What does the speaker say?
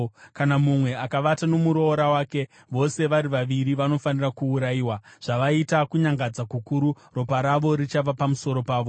“ ‘Kana mumwe akavata nomuroora wake, vose vari vaviri vanofanira kuurayiwa, zvavaita kunyangadza kukuru; ropa ravo richava pamusoro pavo.